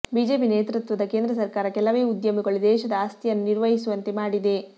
BJP ನೇತೃತ್ವದ ಕೇಂದ್ರ ಸರ್ಕಾರ ಕೆಲವೇ ಉದ್ಯಮಿಗಳು ದೇಶದ ಆಸ್ತಿಯನ್ನು ನಿರ್ವಹಿಸುವಂತೆ ಮಾಡಿದೆ